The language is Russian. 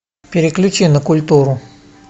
переключи на культуру